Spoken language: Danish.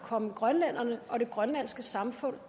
komme grønlænderne og det grønlandske samfund